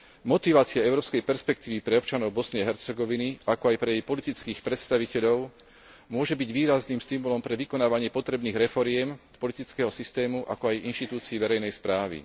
Motivácia európskej perspektívy pre občanov Bosny a Hercegoviny, ako aj pre jej politických predstaviteľov môže byť výrazným stimulom pre vykonávanie potrebných reforiem politického systému, ako aj inštitúcií verejnej správy.